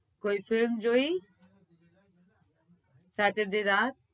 કોઇ film જોઈ saturday રાત